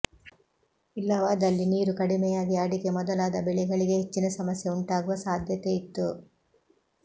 ಇಲ್ಲವಾದಲ್ಲಿ ನೀರು ಕಡಿಮೆಯಾಗಿ ಅಡಿಕೆ ಮೊದಲಾದ ಬೆಳೆಗಳಿಗೆ ಹೆಚ್ಚಿನ ಸಮಸ್ಯೆ ಉಂಟಾಗುವ ಸಾಧ್ಯತೆಯಿತ್ತು